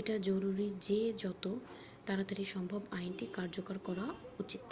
এটা জরুরি যে যত তাড়াতাড়ি সম্ভব আইনটি কার্যকর করা উচিত।""